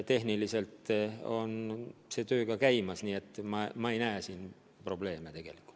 Tehniliselt on see töö ka käimas, nii et ma ei näe tegelikult probleemi.